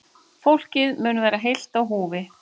Fólkið mun vera heilt á húfi